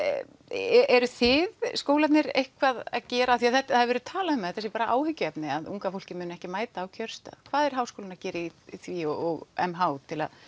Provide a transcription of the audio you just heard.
eruð þið skólarnir eitthvað að gera því það hefur verið talað um að þetta sé bara áhyggjuefni um að unga fólkið muni ekki mæta á kjörstað hvað er háskólinn að gera í því og m h til